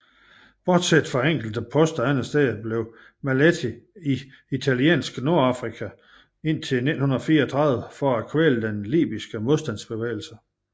Bortset fra enkelte poster andetsteds forblev Maletti i Italiensk Nordafrika indtil 1934 for at kvæle den libyske modstandsbevægelse